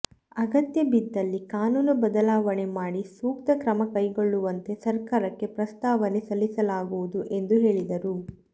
ಅಗತ್ಯ ಬಿದ್ದಲ್ಲಿ ಕಾನೂನು ಬದಲಾವಣೆ ಮಾಡಿ ಸೂಕ್ತ ಕ್ರಮ ಕೈಗೊಳ್ಳುವಂತೆ ಸರ್ಕಾರಕ್ಕೆ ಪ್ರಸ್ತಾವನೆ ಸಲ್ಲಿಸಲಾಗುವುದು ಎಂದು ಹೇಳಿದರು